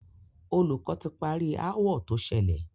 Olùkọ́ ti parí aáwọ̀ tó ṣẹlẹ̀.